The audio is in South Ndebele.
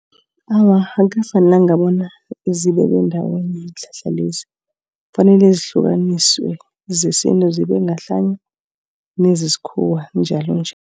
Awa akukafanelanga bona zibekwe ndawonye iinhlahla lezi. Kufanele zihlukaniswe zesintu zibe ngahlanye nezesikhuwa njalo njalo.